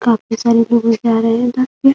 काफी सारे लोग जा रहे हैं उधर से ।